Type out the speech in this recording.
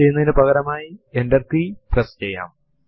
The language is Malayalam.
എസ്കേപ്പ് sequences സും നമ്മുക്ക് എച്ചോ command ന്റെ ഒപ്പം ഉപയോഗിക്കാം